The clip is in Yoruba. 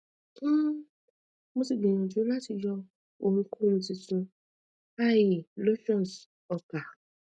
um mo ti gbiyanju lati yọ ohunkohun titun ie lotions ọkà